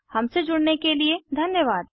हमसे जुड़ने के लिए धन्यवाद